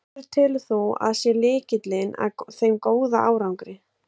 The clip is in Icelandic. Hver telur þú að sé lykillinn að þeim góða árangri?